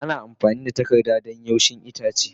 Ana amfani da takarda yashi don kaushin itace.